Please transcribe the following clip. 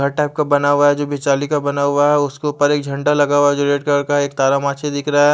घर टाइप का बना हुआ है जो जाली का बना हुआ है उसके ऊपर एक झंडा लगा हुआ है जो रेड कलर का है एक तारा माची दिखरा है।